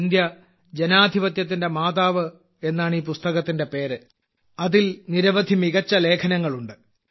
ഇന്ത്യജനാധിപത്യത്തിന്റെ മാതാവ് എന്നാണ് ഈ പുസ്തകത്തിന്റെ പേര് അതിൽ നിരവധി മികച്ച ലേഖനങ്ങൾ ഉണ്ട്